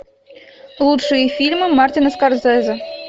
лучшие фильмы мартина скорсезе